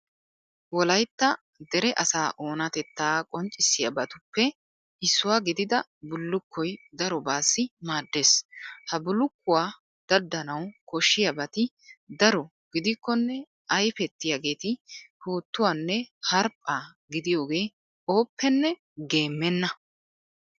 Wolaytta dere asaa oonatettaa qonccissiyabatuppe issuwa gidida bullukkoy darobaassi maaddees. Ha bullukkuwa daddanawu koshshiyabati daro gidokkonne ayfettiyageeti puuttuwanne harppaa gidiyogee ooppenne geemmenna.